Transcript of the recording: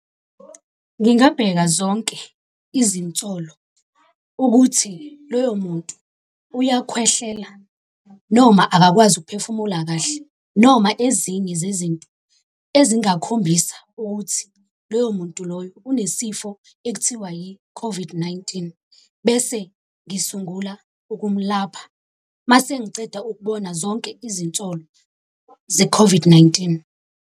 Ngingabheka zonke izinsolo ukuthi loyo muntu uyakhwehlela noma akakwazi ukuphefumula kahle noma ezinye zezinto ezingakhombisa ukuthi loyo muntu loyo unesifo ekuthiwa yi-COVID-19, bese ngisungula ukumlapha, mase ngiceda ukubona zonke izinsolo ze-COVID-19.